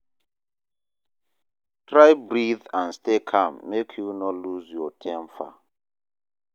Try breath and stay calm make you no loose your temper